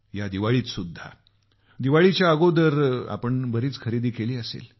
या दिवाळीतसुद्धा दिवाळीच्या अगोदर आपण बरीच खरेदी केली असेल